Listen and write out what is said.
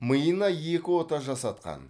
миына екі ота жасатқан